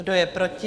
Kdo je proti?